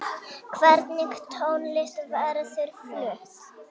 Hvernig tónlist verður flutt?